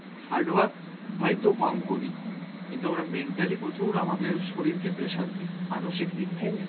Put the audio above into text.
hard work হয়তো কম করি কিন্তু আমরা mentally প্রচুর আমাদের শরীরকে pressure দি, মানসিক দিক থেকে .